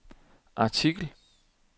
artikel